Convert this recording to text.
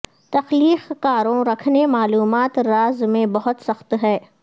تخلیق کاروں رکھنے معلومات راز میں بہت سخت ہے